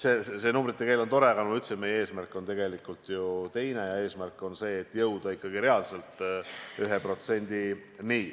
Eks see numbrite keel on tore, aga, nagu ma ütlesin, meie eesmärk on tegelikult ju teine: jõuda ikkagi reaalselt 1%-ni.